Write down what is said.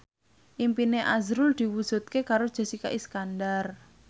impine azrul diwujudke karo Jessica Iskandar